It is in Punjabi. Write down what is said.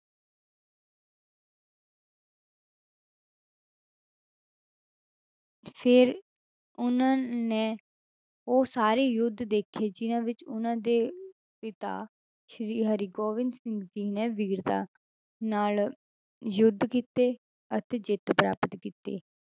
ਫਿਰ ਉਹਨਾਂ ਨੇ ਉਹ ਸਾਰੇ ਯੁੱਧ ਦੇਖੇ ਜਿੰਨਾਂ ਵਿੱਚ ਉਹਨਾਂ ਦੇ ਪਿਤਾ ਸ੍ਰੀ ਹਰਿਗੋਬਿੰਦ ਸਿੰਘ ਜੀ ਨੇ ਵੀਰਤਾ ਨਾਲ ਯੁੱਧ ਕੀਤੇ ਅਤੇ ਜਿੱਤ ਪ੍ਰਾਪਤ ਕੀਤੀ।